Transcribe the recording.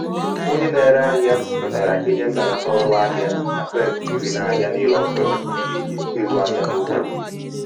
onye na-ere ahịa kwetara inye mbelata ọrụ ahịa um pasentị iri n'ahịa niile ọ tụrụ n'ihi izu ahịa n'ukwu.